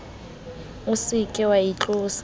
o se ke wa itlotsa